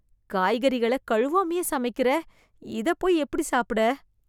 காய்கறிகள கழுவாமையே சமைக்கிற, இதப் போய் எப்படி சாப்பிட